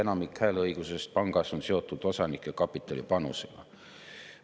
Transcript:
Enamik hääleõigusest pangas on seotud osanike kapitalipanusega.